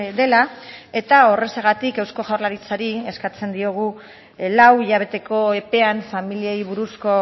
dela eta horrexegatik eusko jaurlaritzari eskatzen diogu lau hilabeteko epean familiei buruzko